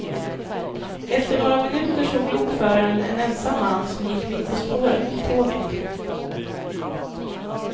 Efter några minuter såg lokföraren en ensam man som gick mitt på spåret mot tåget.